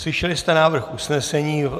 Slyšeli jste návrh usnesení.